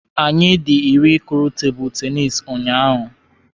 Anyị dị iri kụrụ tebụlụ tenisi ụnyaahụ.